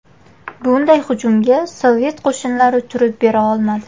Bunday hujumga Sovet qo‘shinlari turib bera olmadi.